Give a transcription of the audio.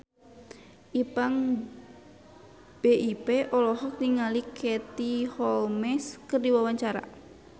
Ipank BIP olohok ningali Katie Holmes keur diwawancara